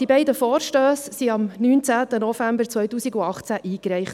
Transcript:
Die beiden Vorstösse wurden am 19. November 2018 eingereicht.